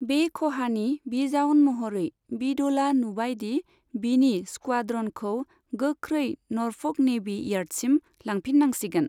बे खहानि बिजाउन महरै, बिडोलआ नुबाय दि बिनि स्क्वाड्रनखौ गोख्रै नर्फ'क नेभि इयार्डसिम लांफिननांसिगोन।